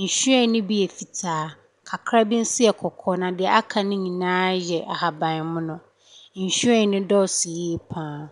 Nhwiren no bi yɛ fitaa, kakra bi nso yɛ kɔkɔɔ, na deɛ aka no nyinaa yɛ ahaman mono.